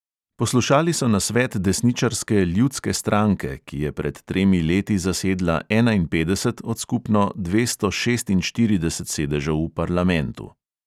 Poslušali so nasvet desničarske ljudske stranke, ki je pred tremi leti zasedla enainpetdeset od skupno dvesto šestinštiridesetih sedežev v parlamentu.